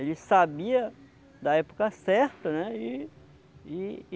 Ele sabia da época certa, né? E e